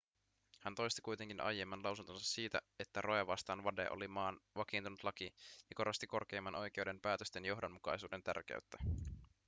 hän toisti kuitenkin aiemman lausuntonsa siitä että roe vastaan wade oli maan vakiintunut laki ja korosti korkeimman oikeuden päätösten johdonmukaisuuden tärkeyttä